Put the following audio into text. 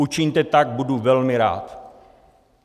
Učiňte tak, budu velmi rád.